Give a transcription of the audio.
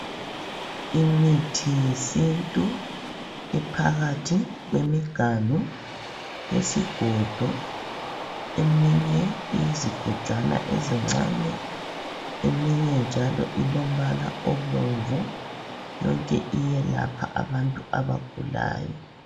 imithi yesintu ephakathi kwemiganu yesigodo, eminye iyizigodwana ezincane, eminye njalo ilombala obomvu yonke iyelapha abantu abagulayo.